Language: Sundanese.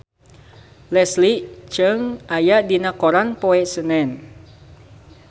Leslie Cheung aya dina koran poe Senen